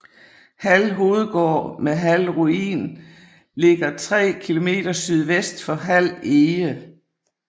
Hald Hovedgård med Hald Ruin ligger 3 km sydvest for Hald Ege